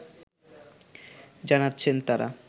জানাচ্ছেন তারা